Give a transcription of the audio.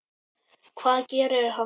Hvað gerir hann núna?